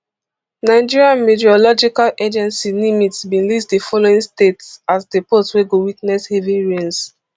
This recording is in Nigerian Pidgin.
nigerian meteorological agency nimet bin list di following states as the pose wey go witness heavy rains